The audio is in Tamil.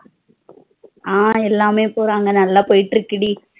ஆஹ் எல்லாமே போறாங்க நல்லா போயிட்டு இருக்குடி